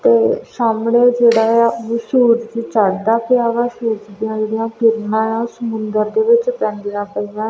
ਉਹ ਸਾਹਮਣੇ ਜਿਹੜਾ ਆ ਉਹ ਸੂਰਜ ਚੜਦਾ ਪਿਆ ਵਾ ਸੂਰਜ ਦੀਆਂ ਕਿਰਨਾਂ ਆ ਸਮੁੰਦਰ ਦੇ ਵਿੱਚ ਪੈਂਦੀਆਂ ਪਈਆਂ।